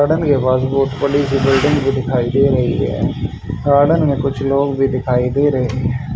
Garden के पास बहुत बड़ी सी बिल्डिंग भी दिखाई दे रही हैं गार्डन में कुछ लोग भी दिखाई दे रहे हैं।